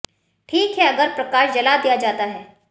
ठीक है अगर प्रकाश जला दिया जाता है